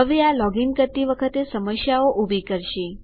હવે આ લોગીન કરતી વખતે સમસ્યાઓ ઉભી કરશે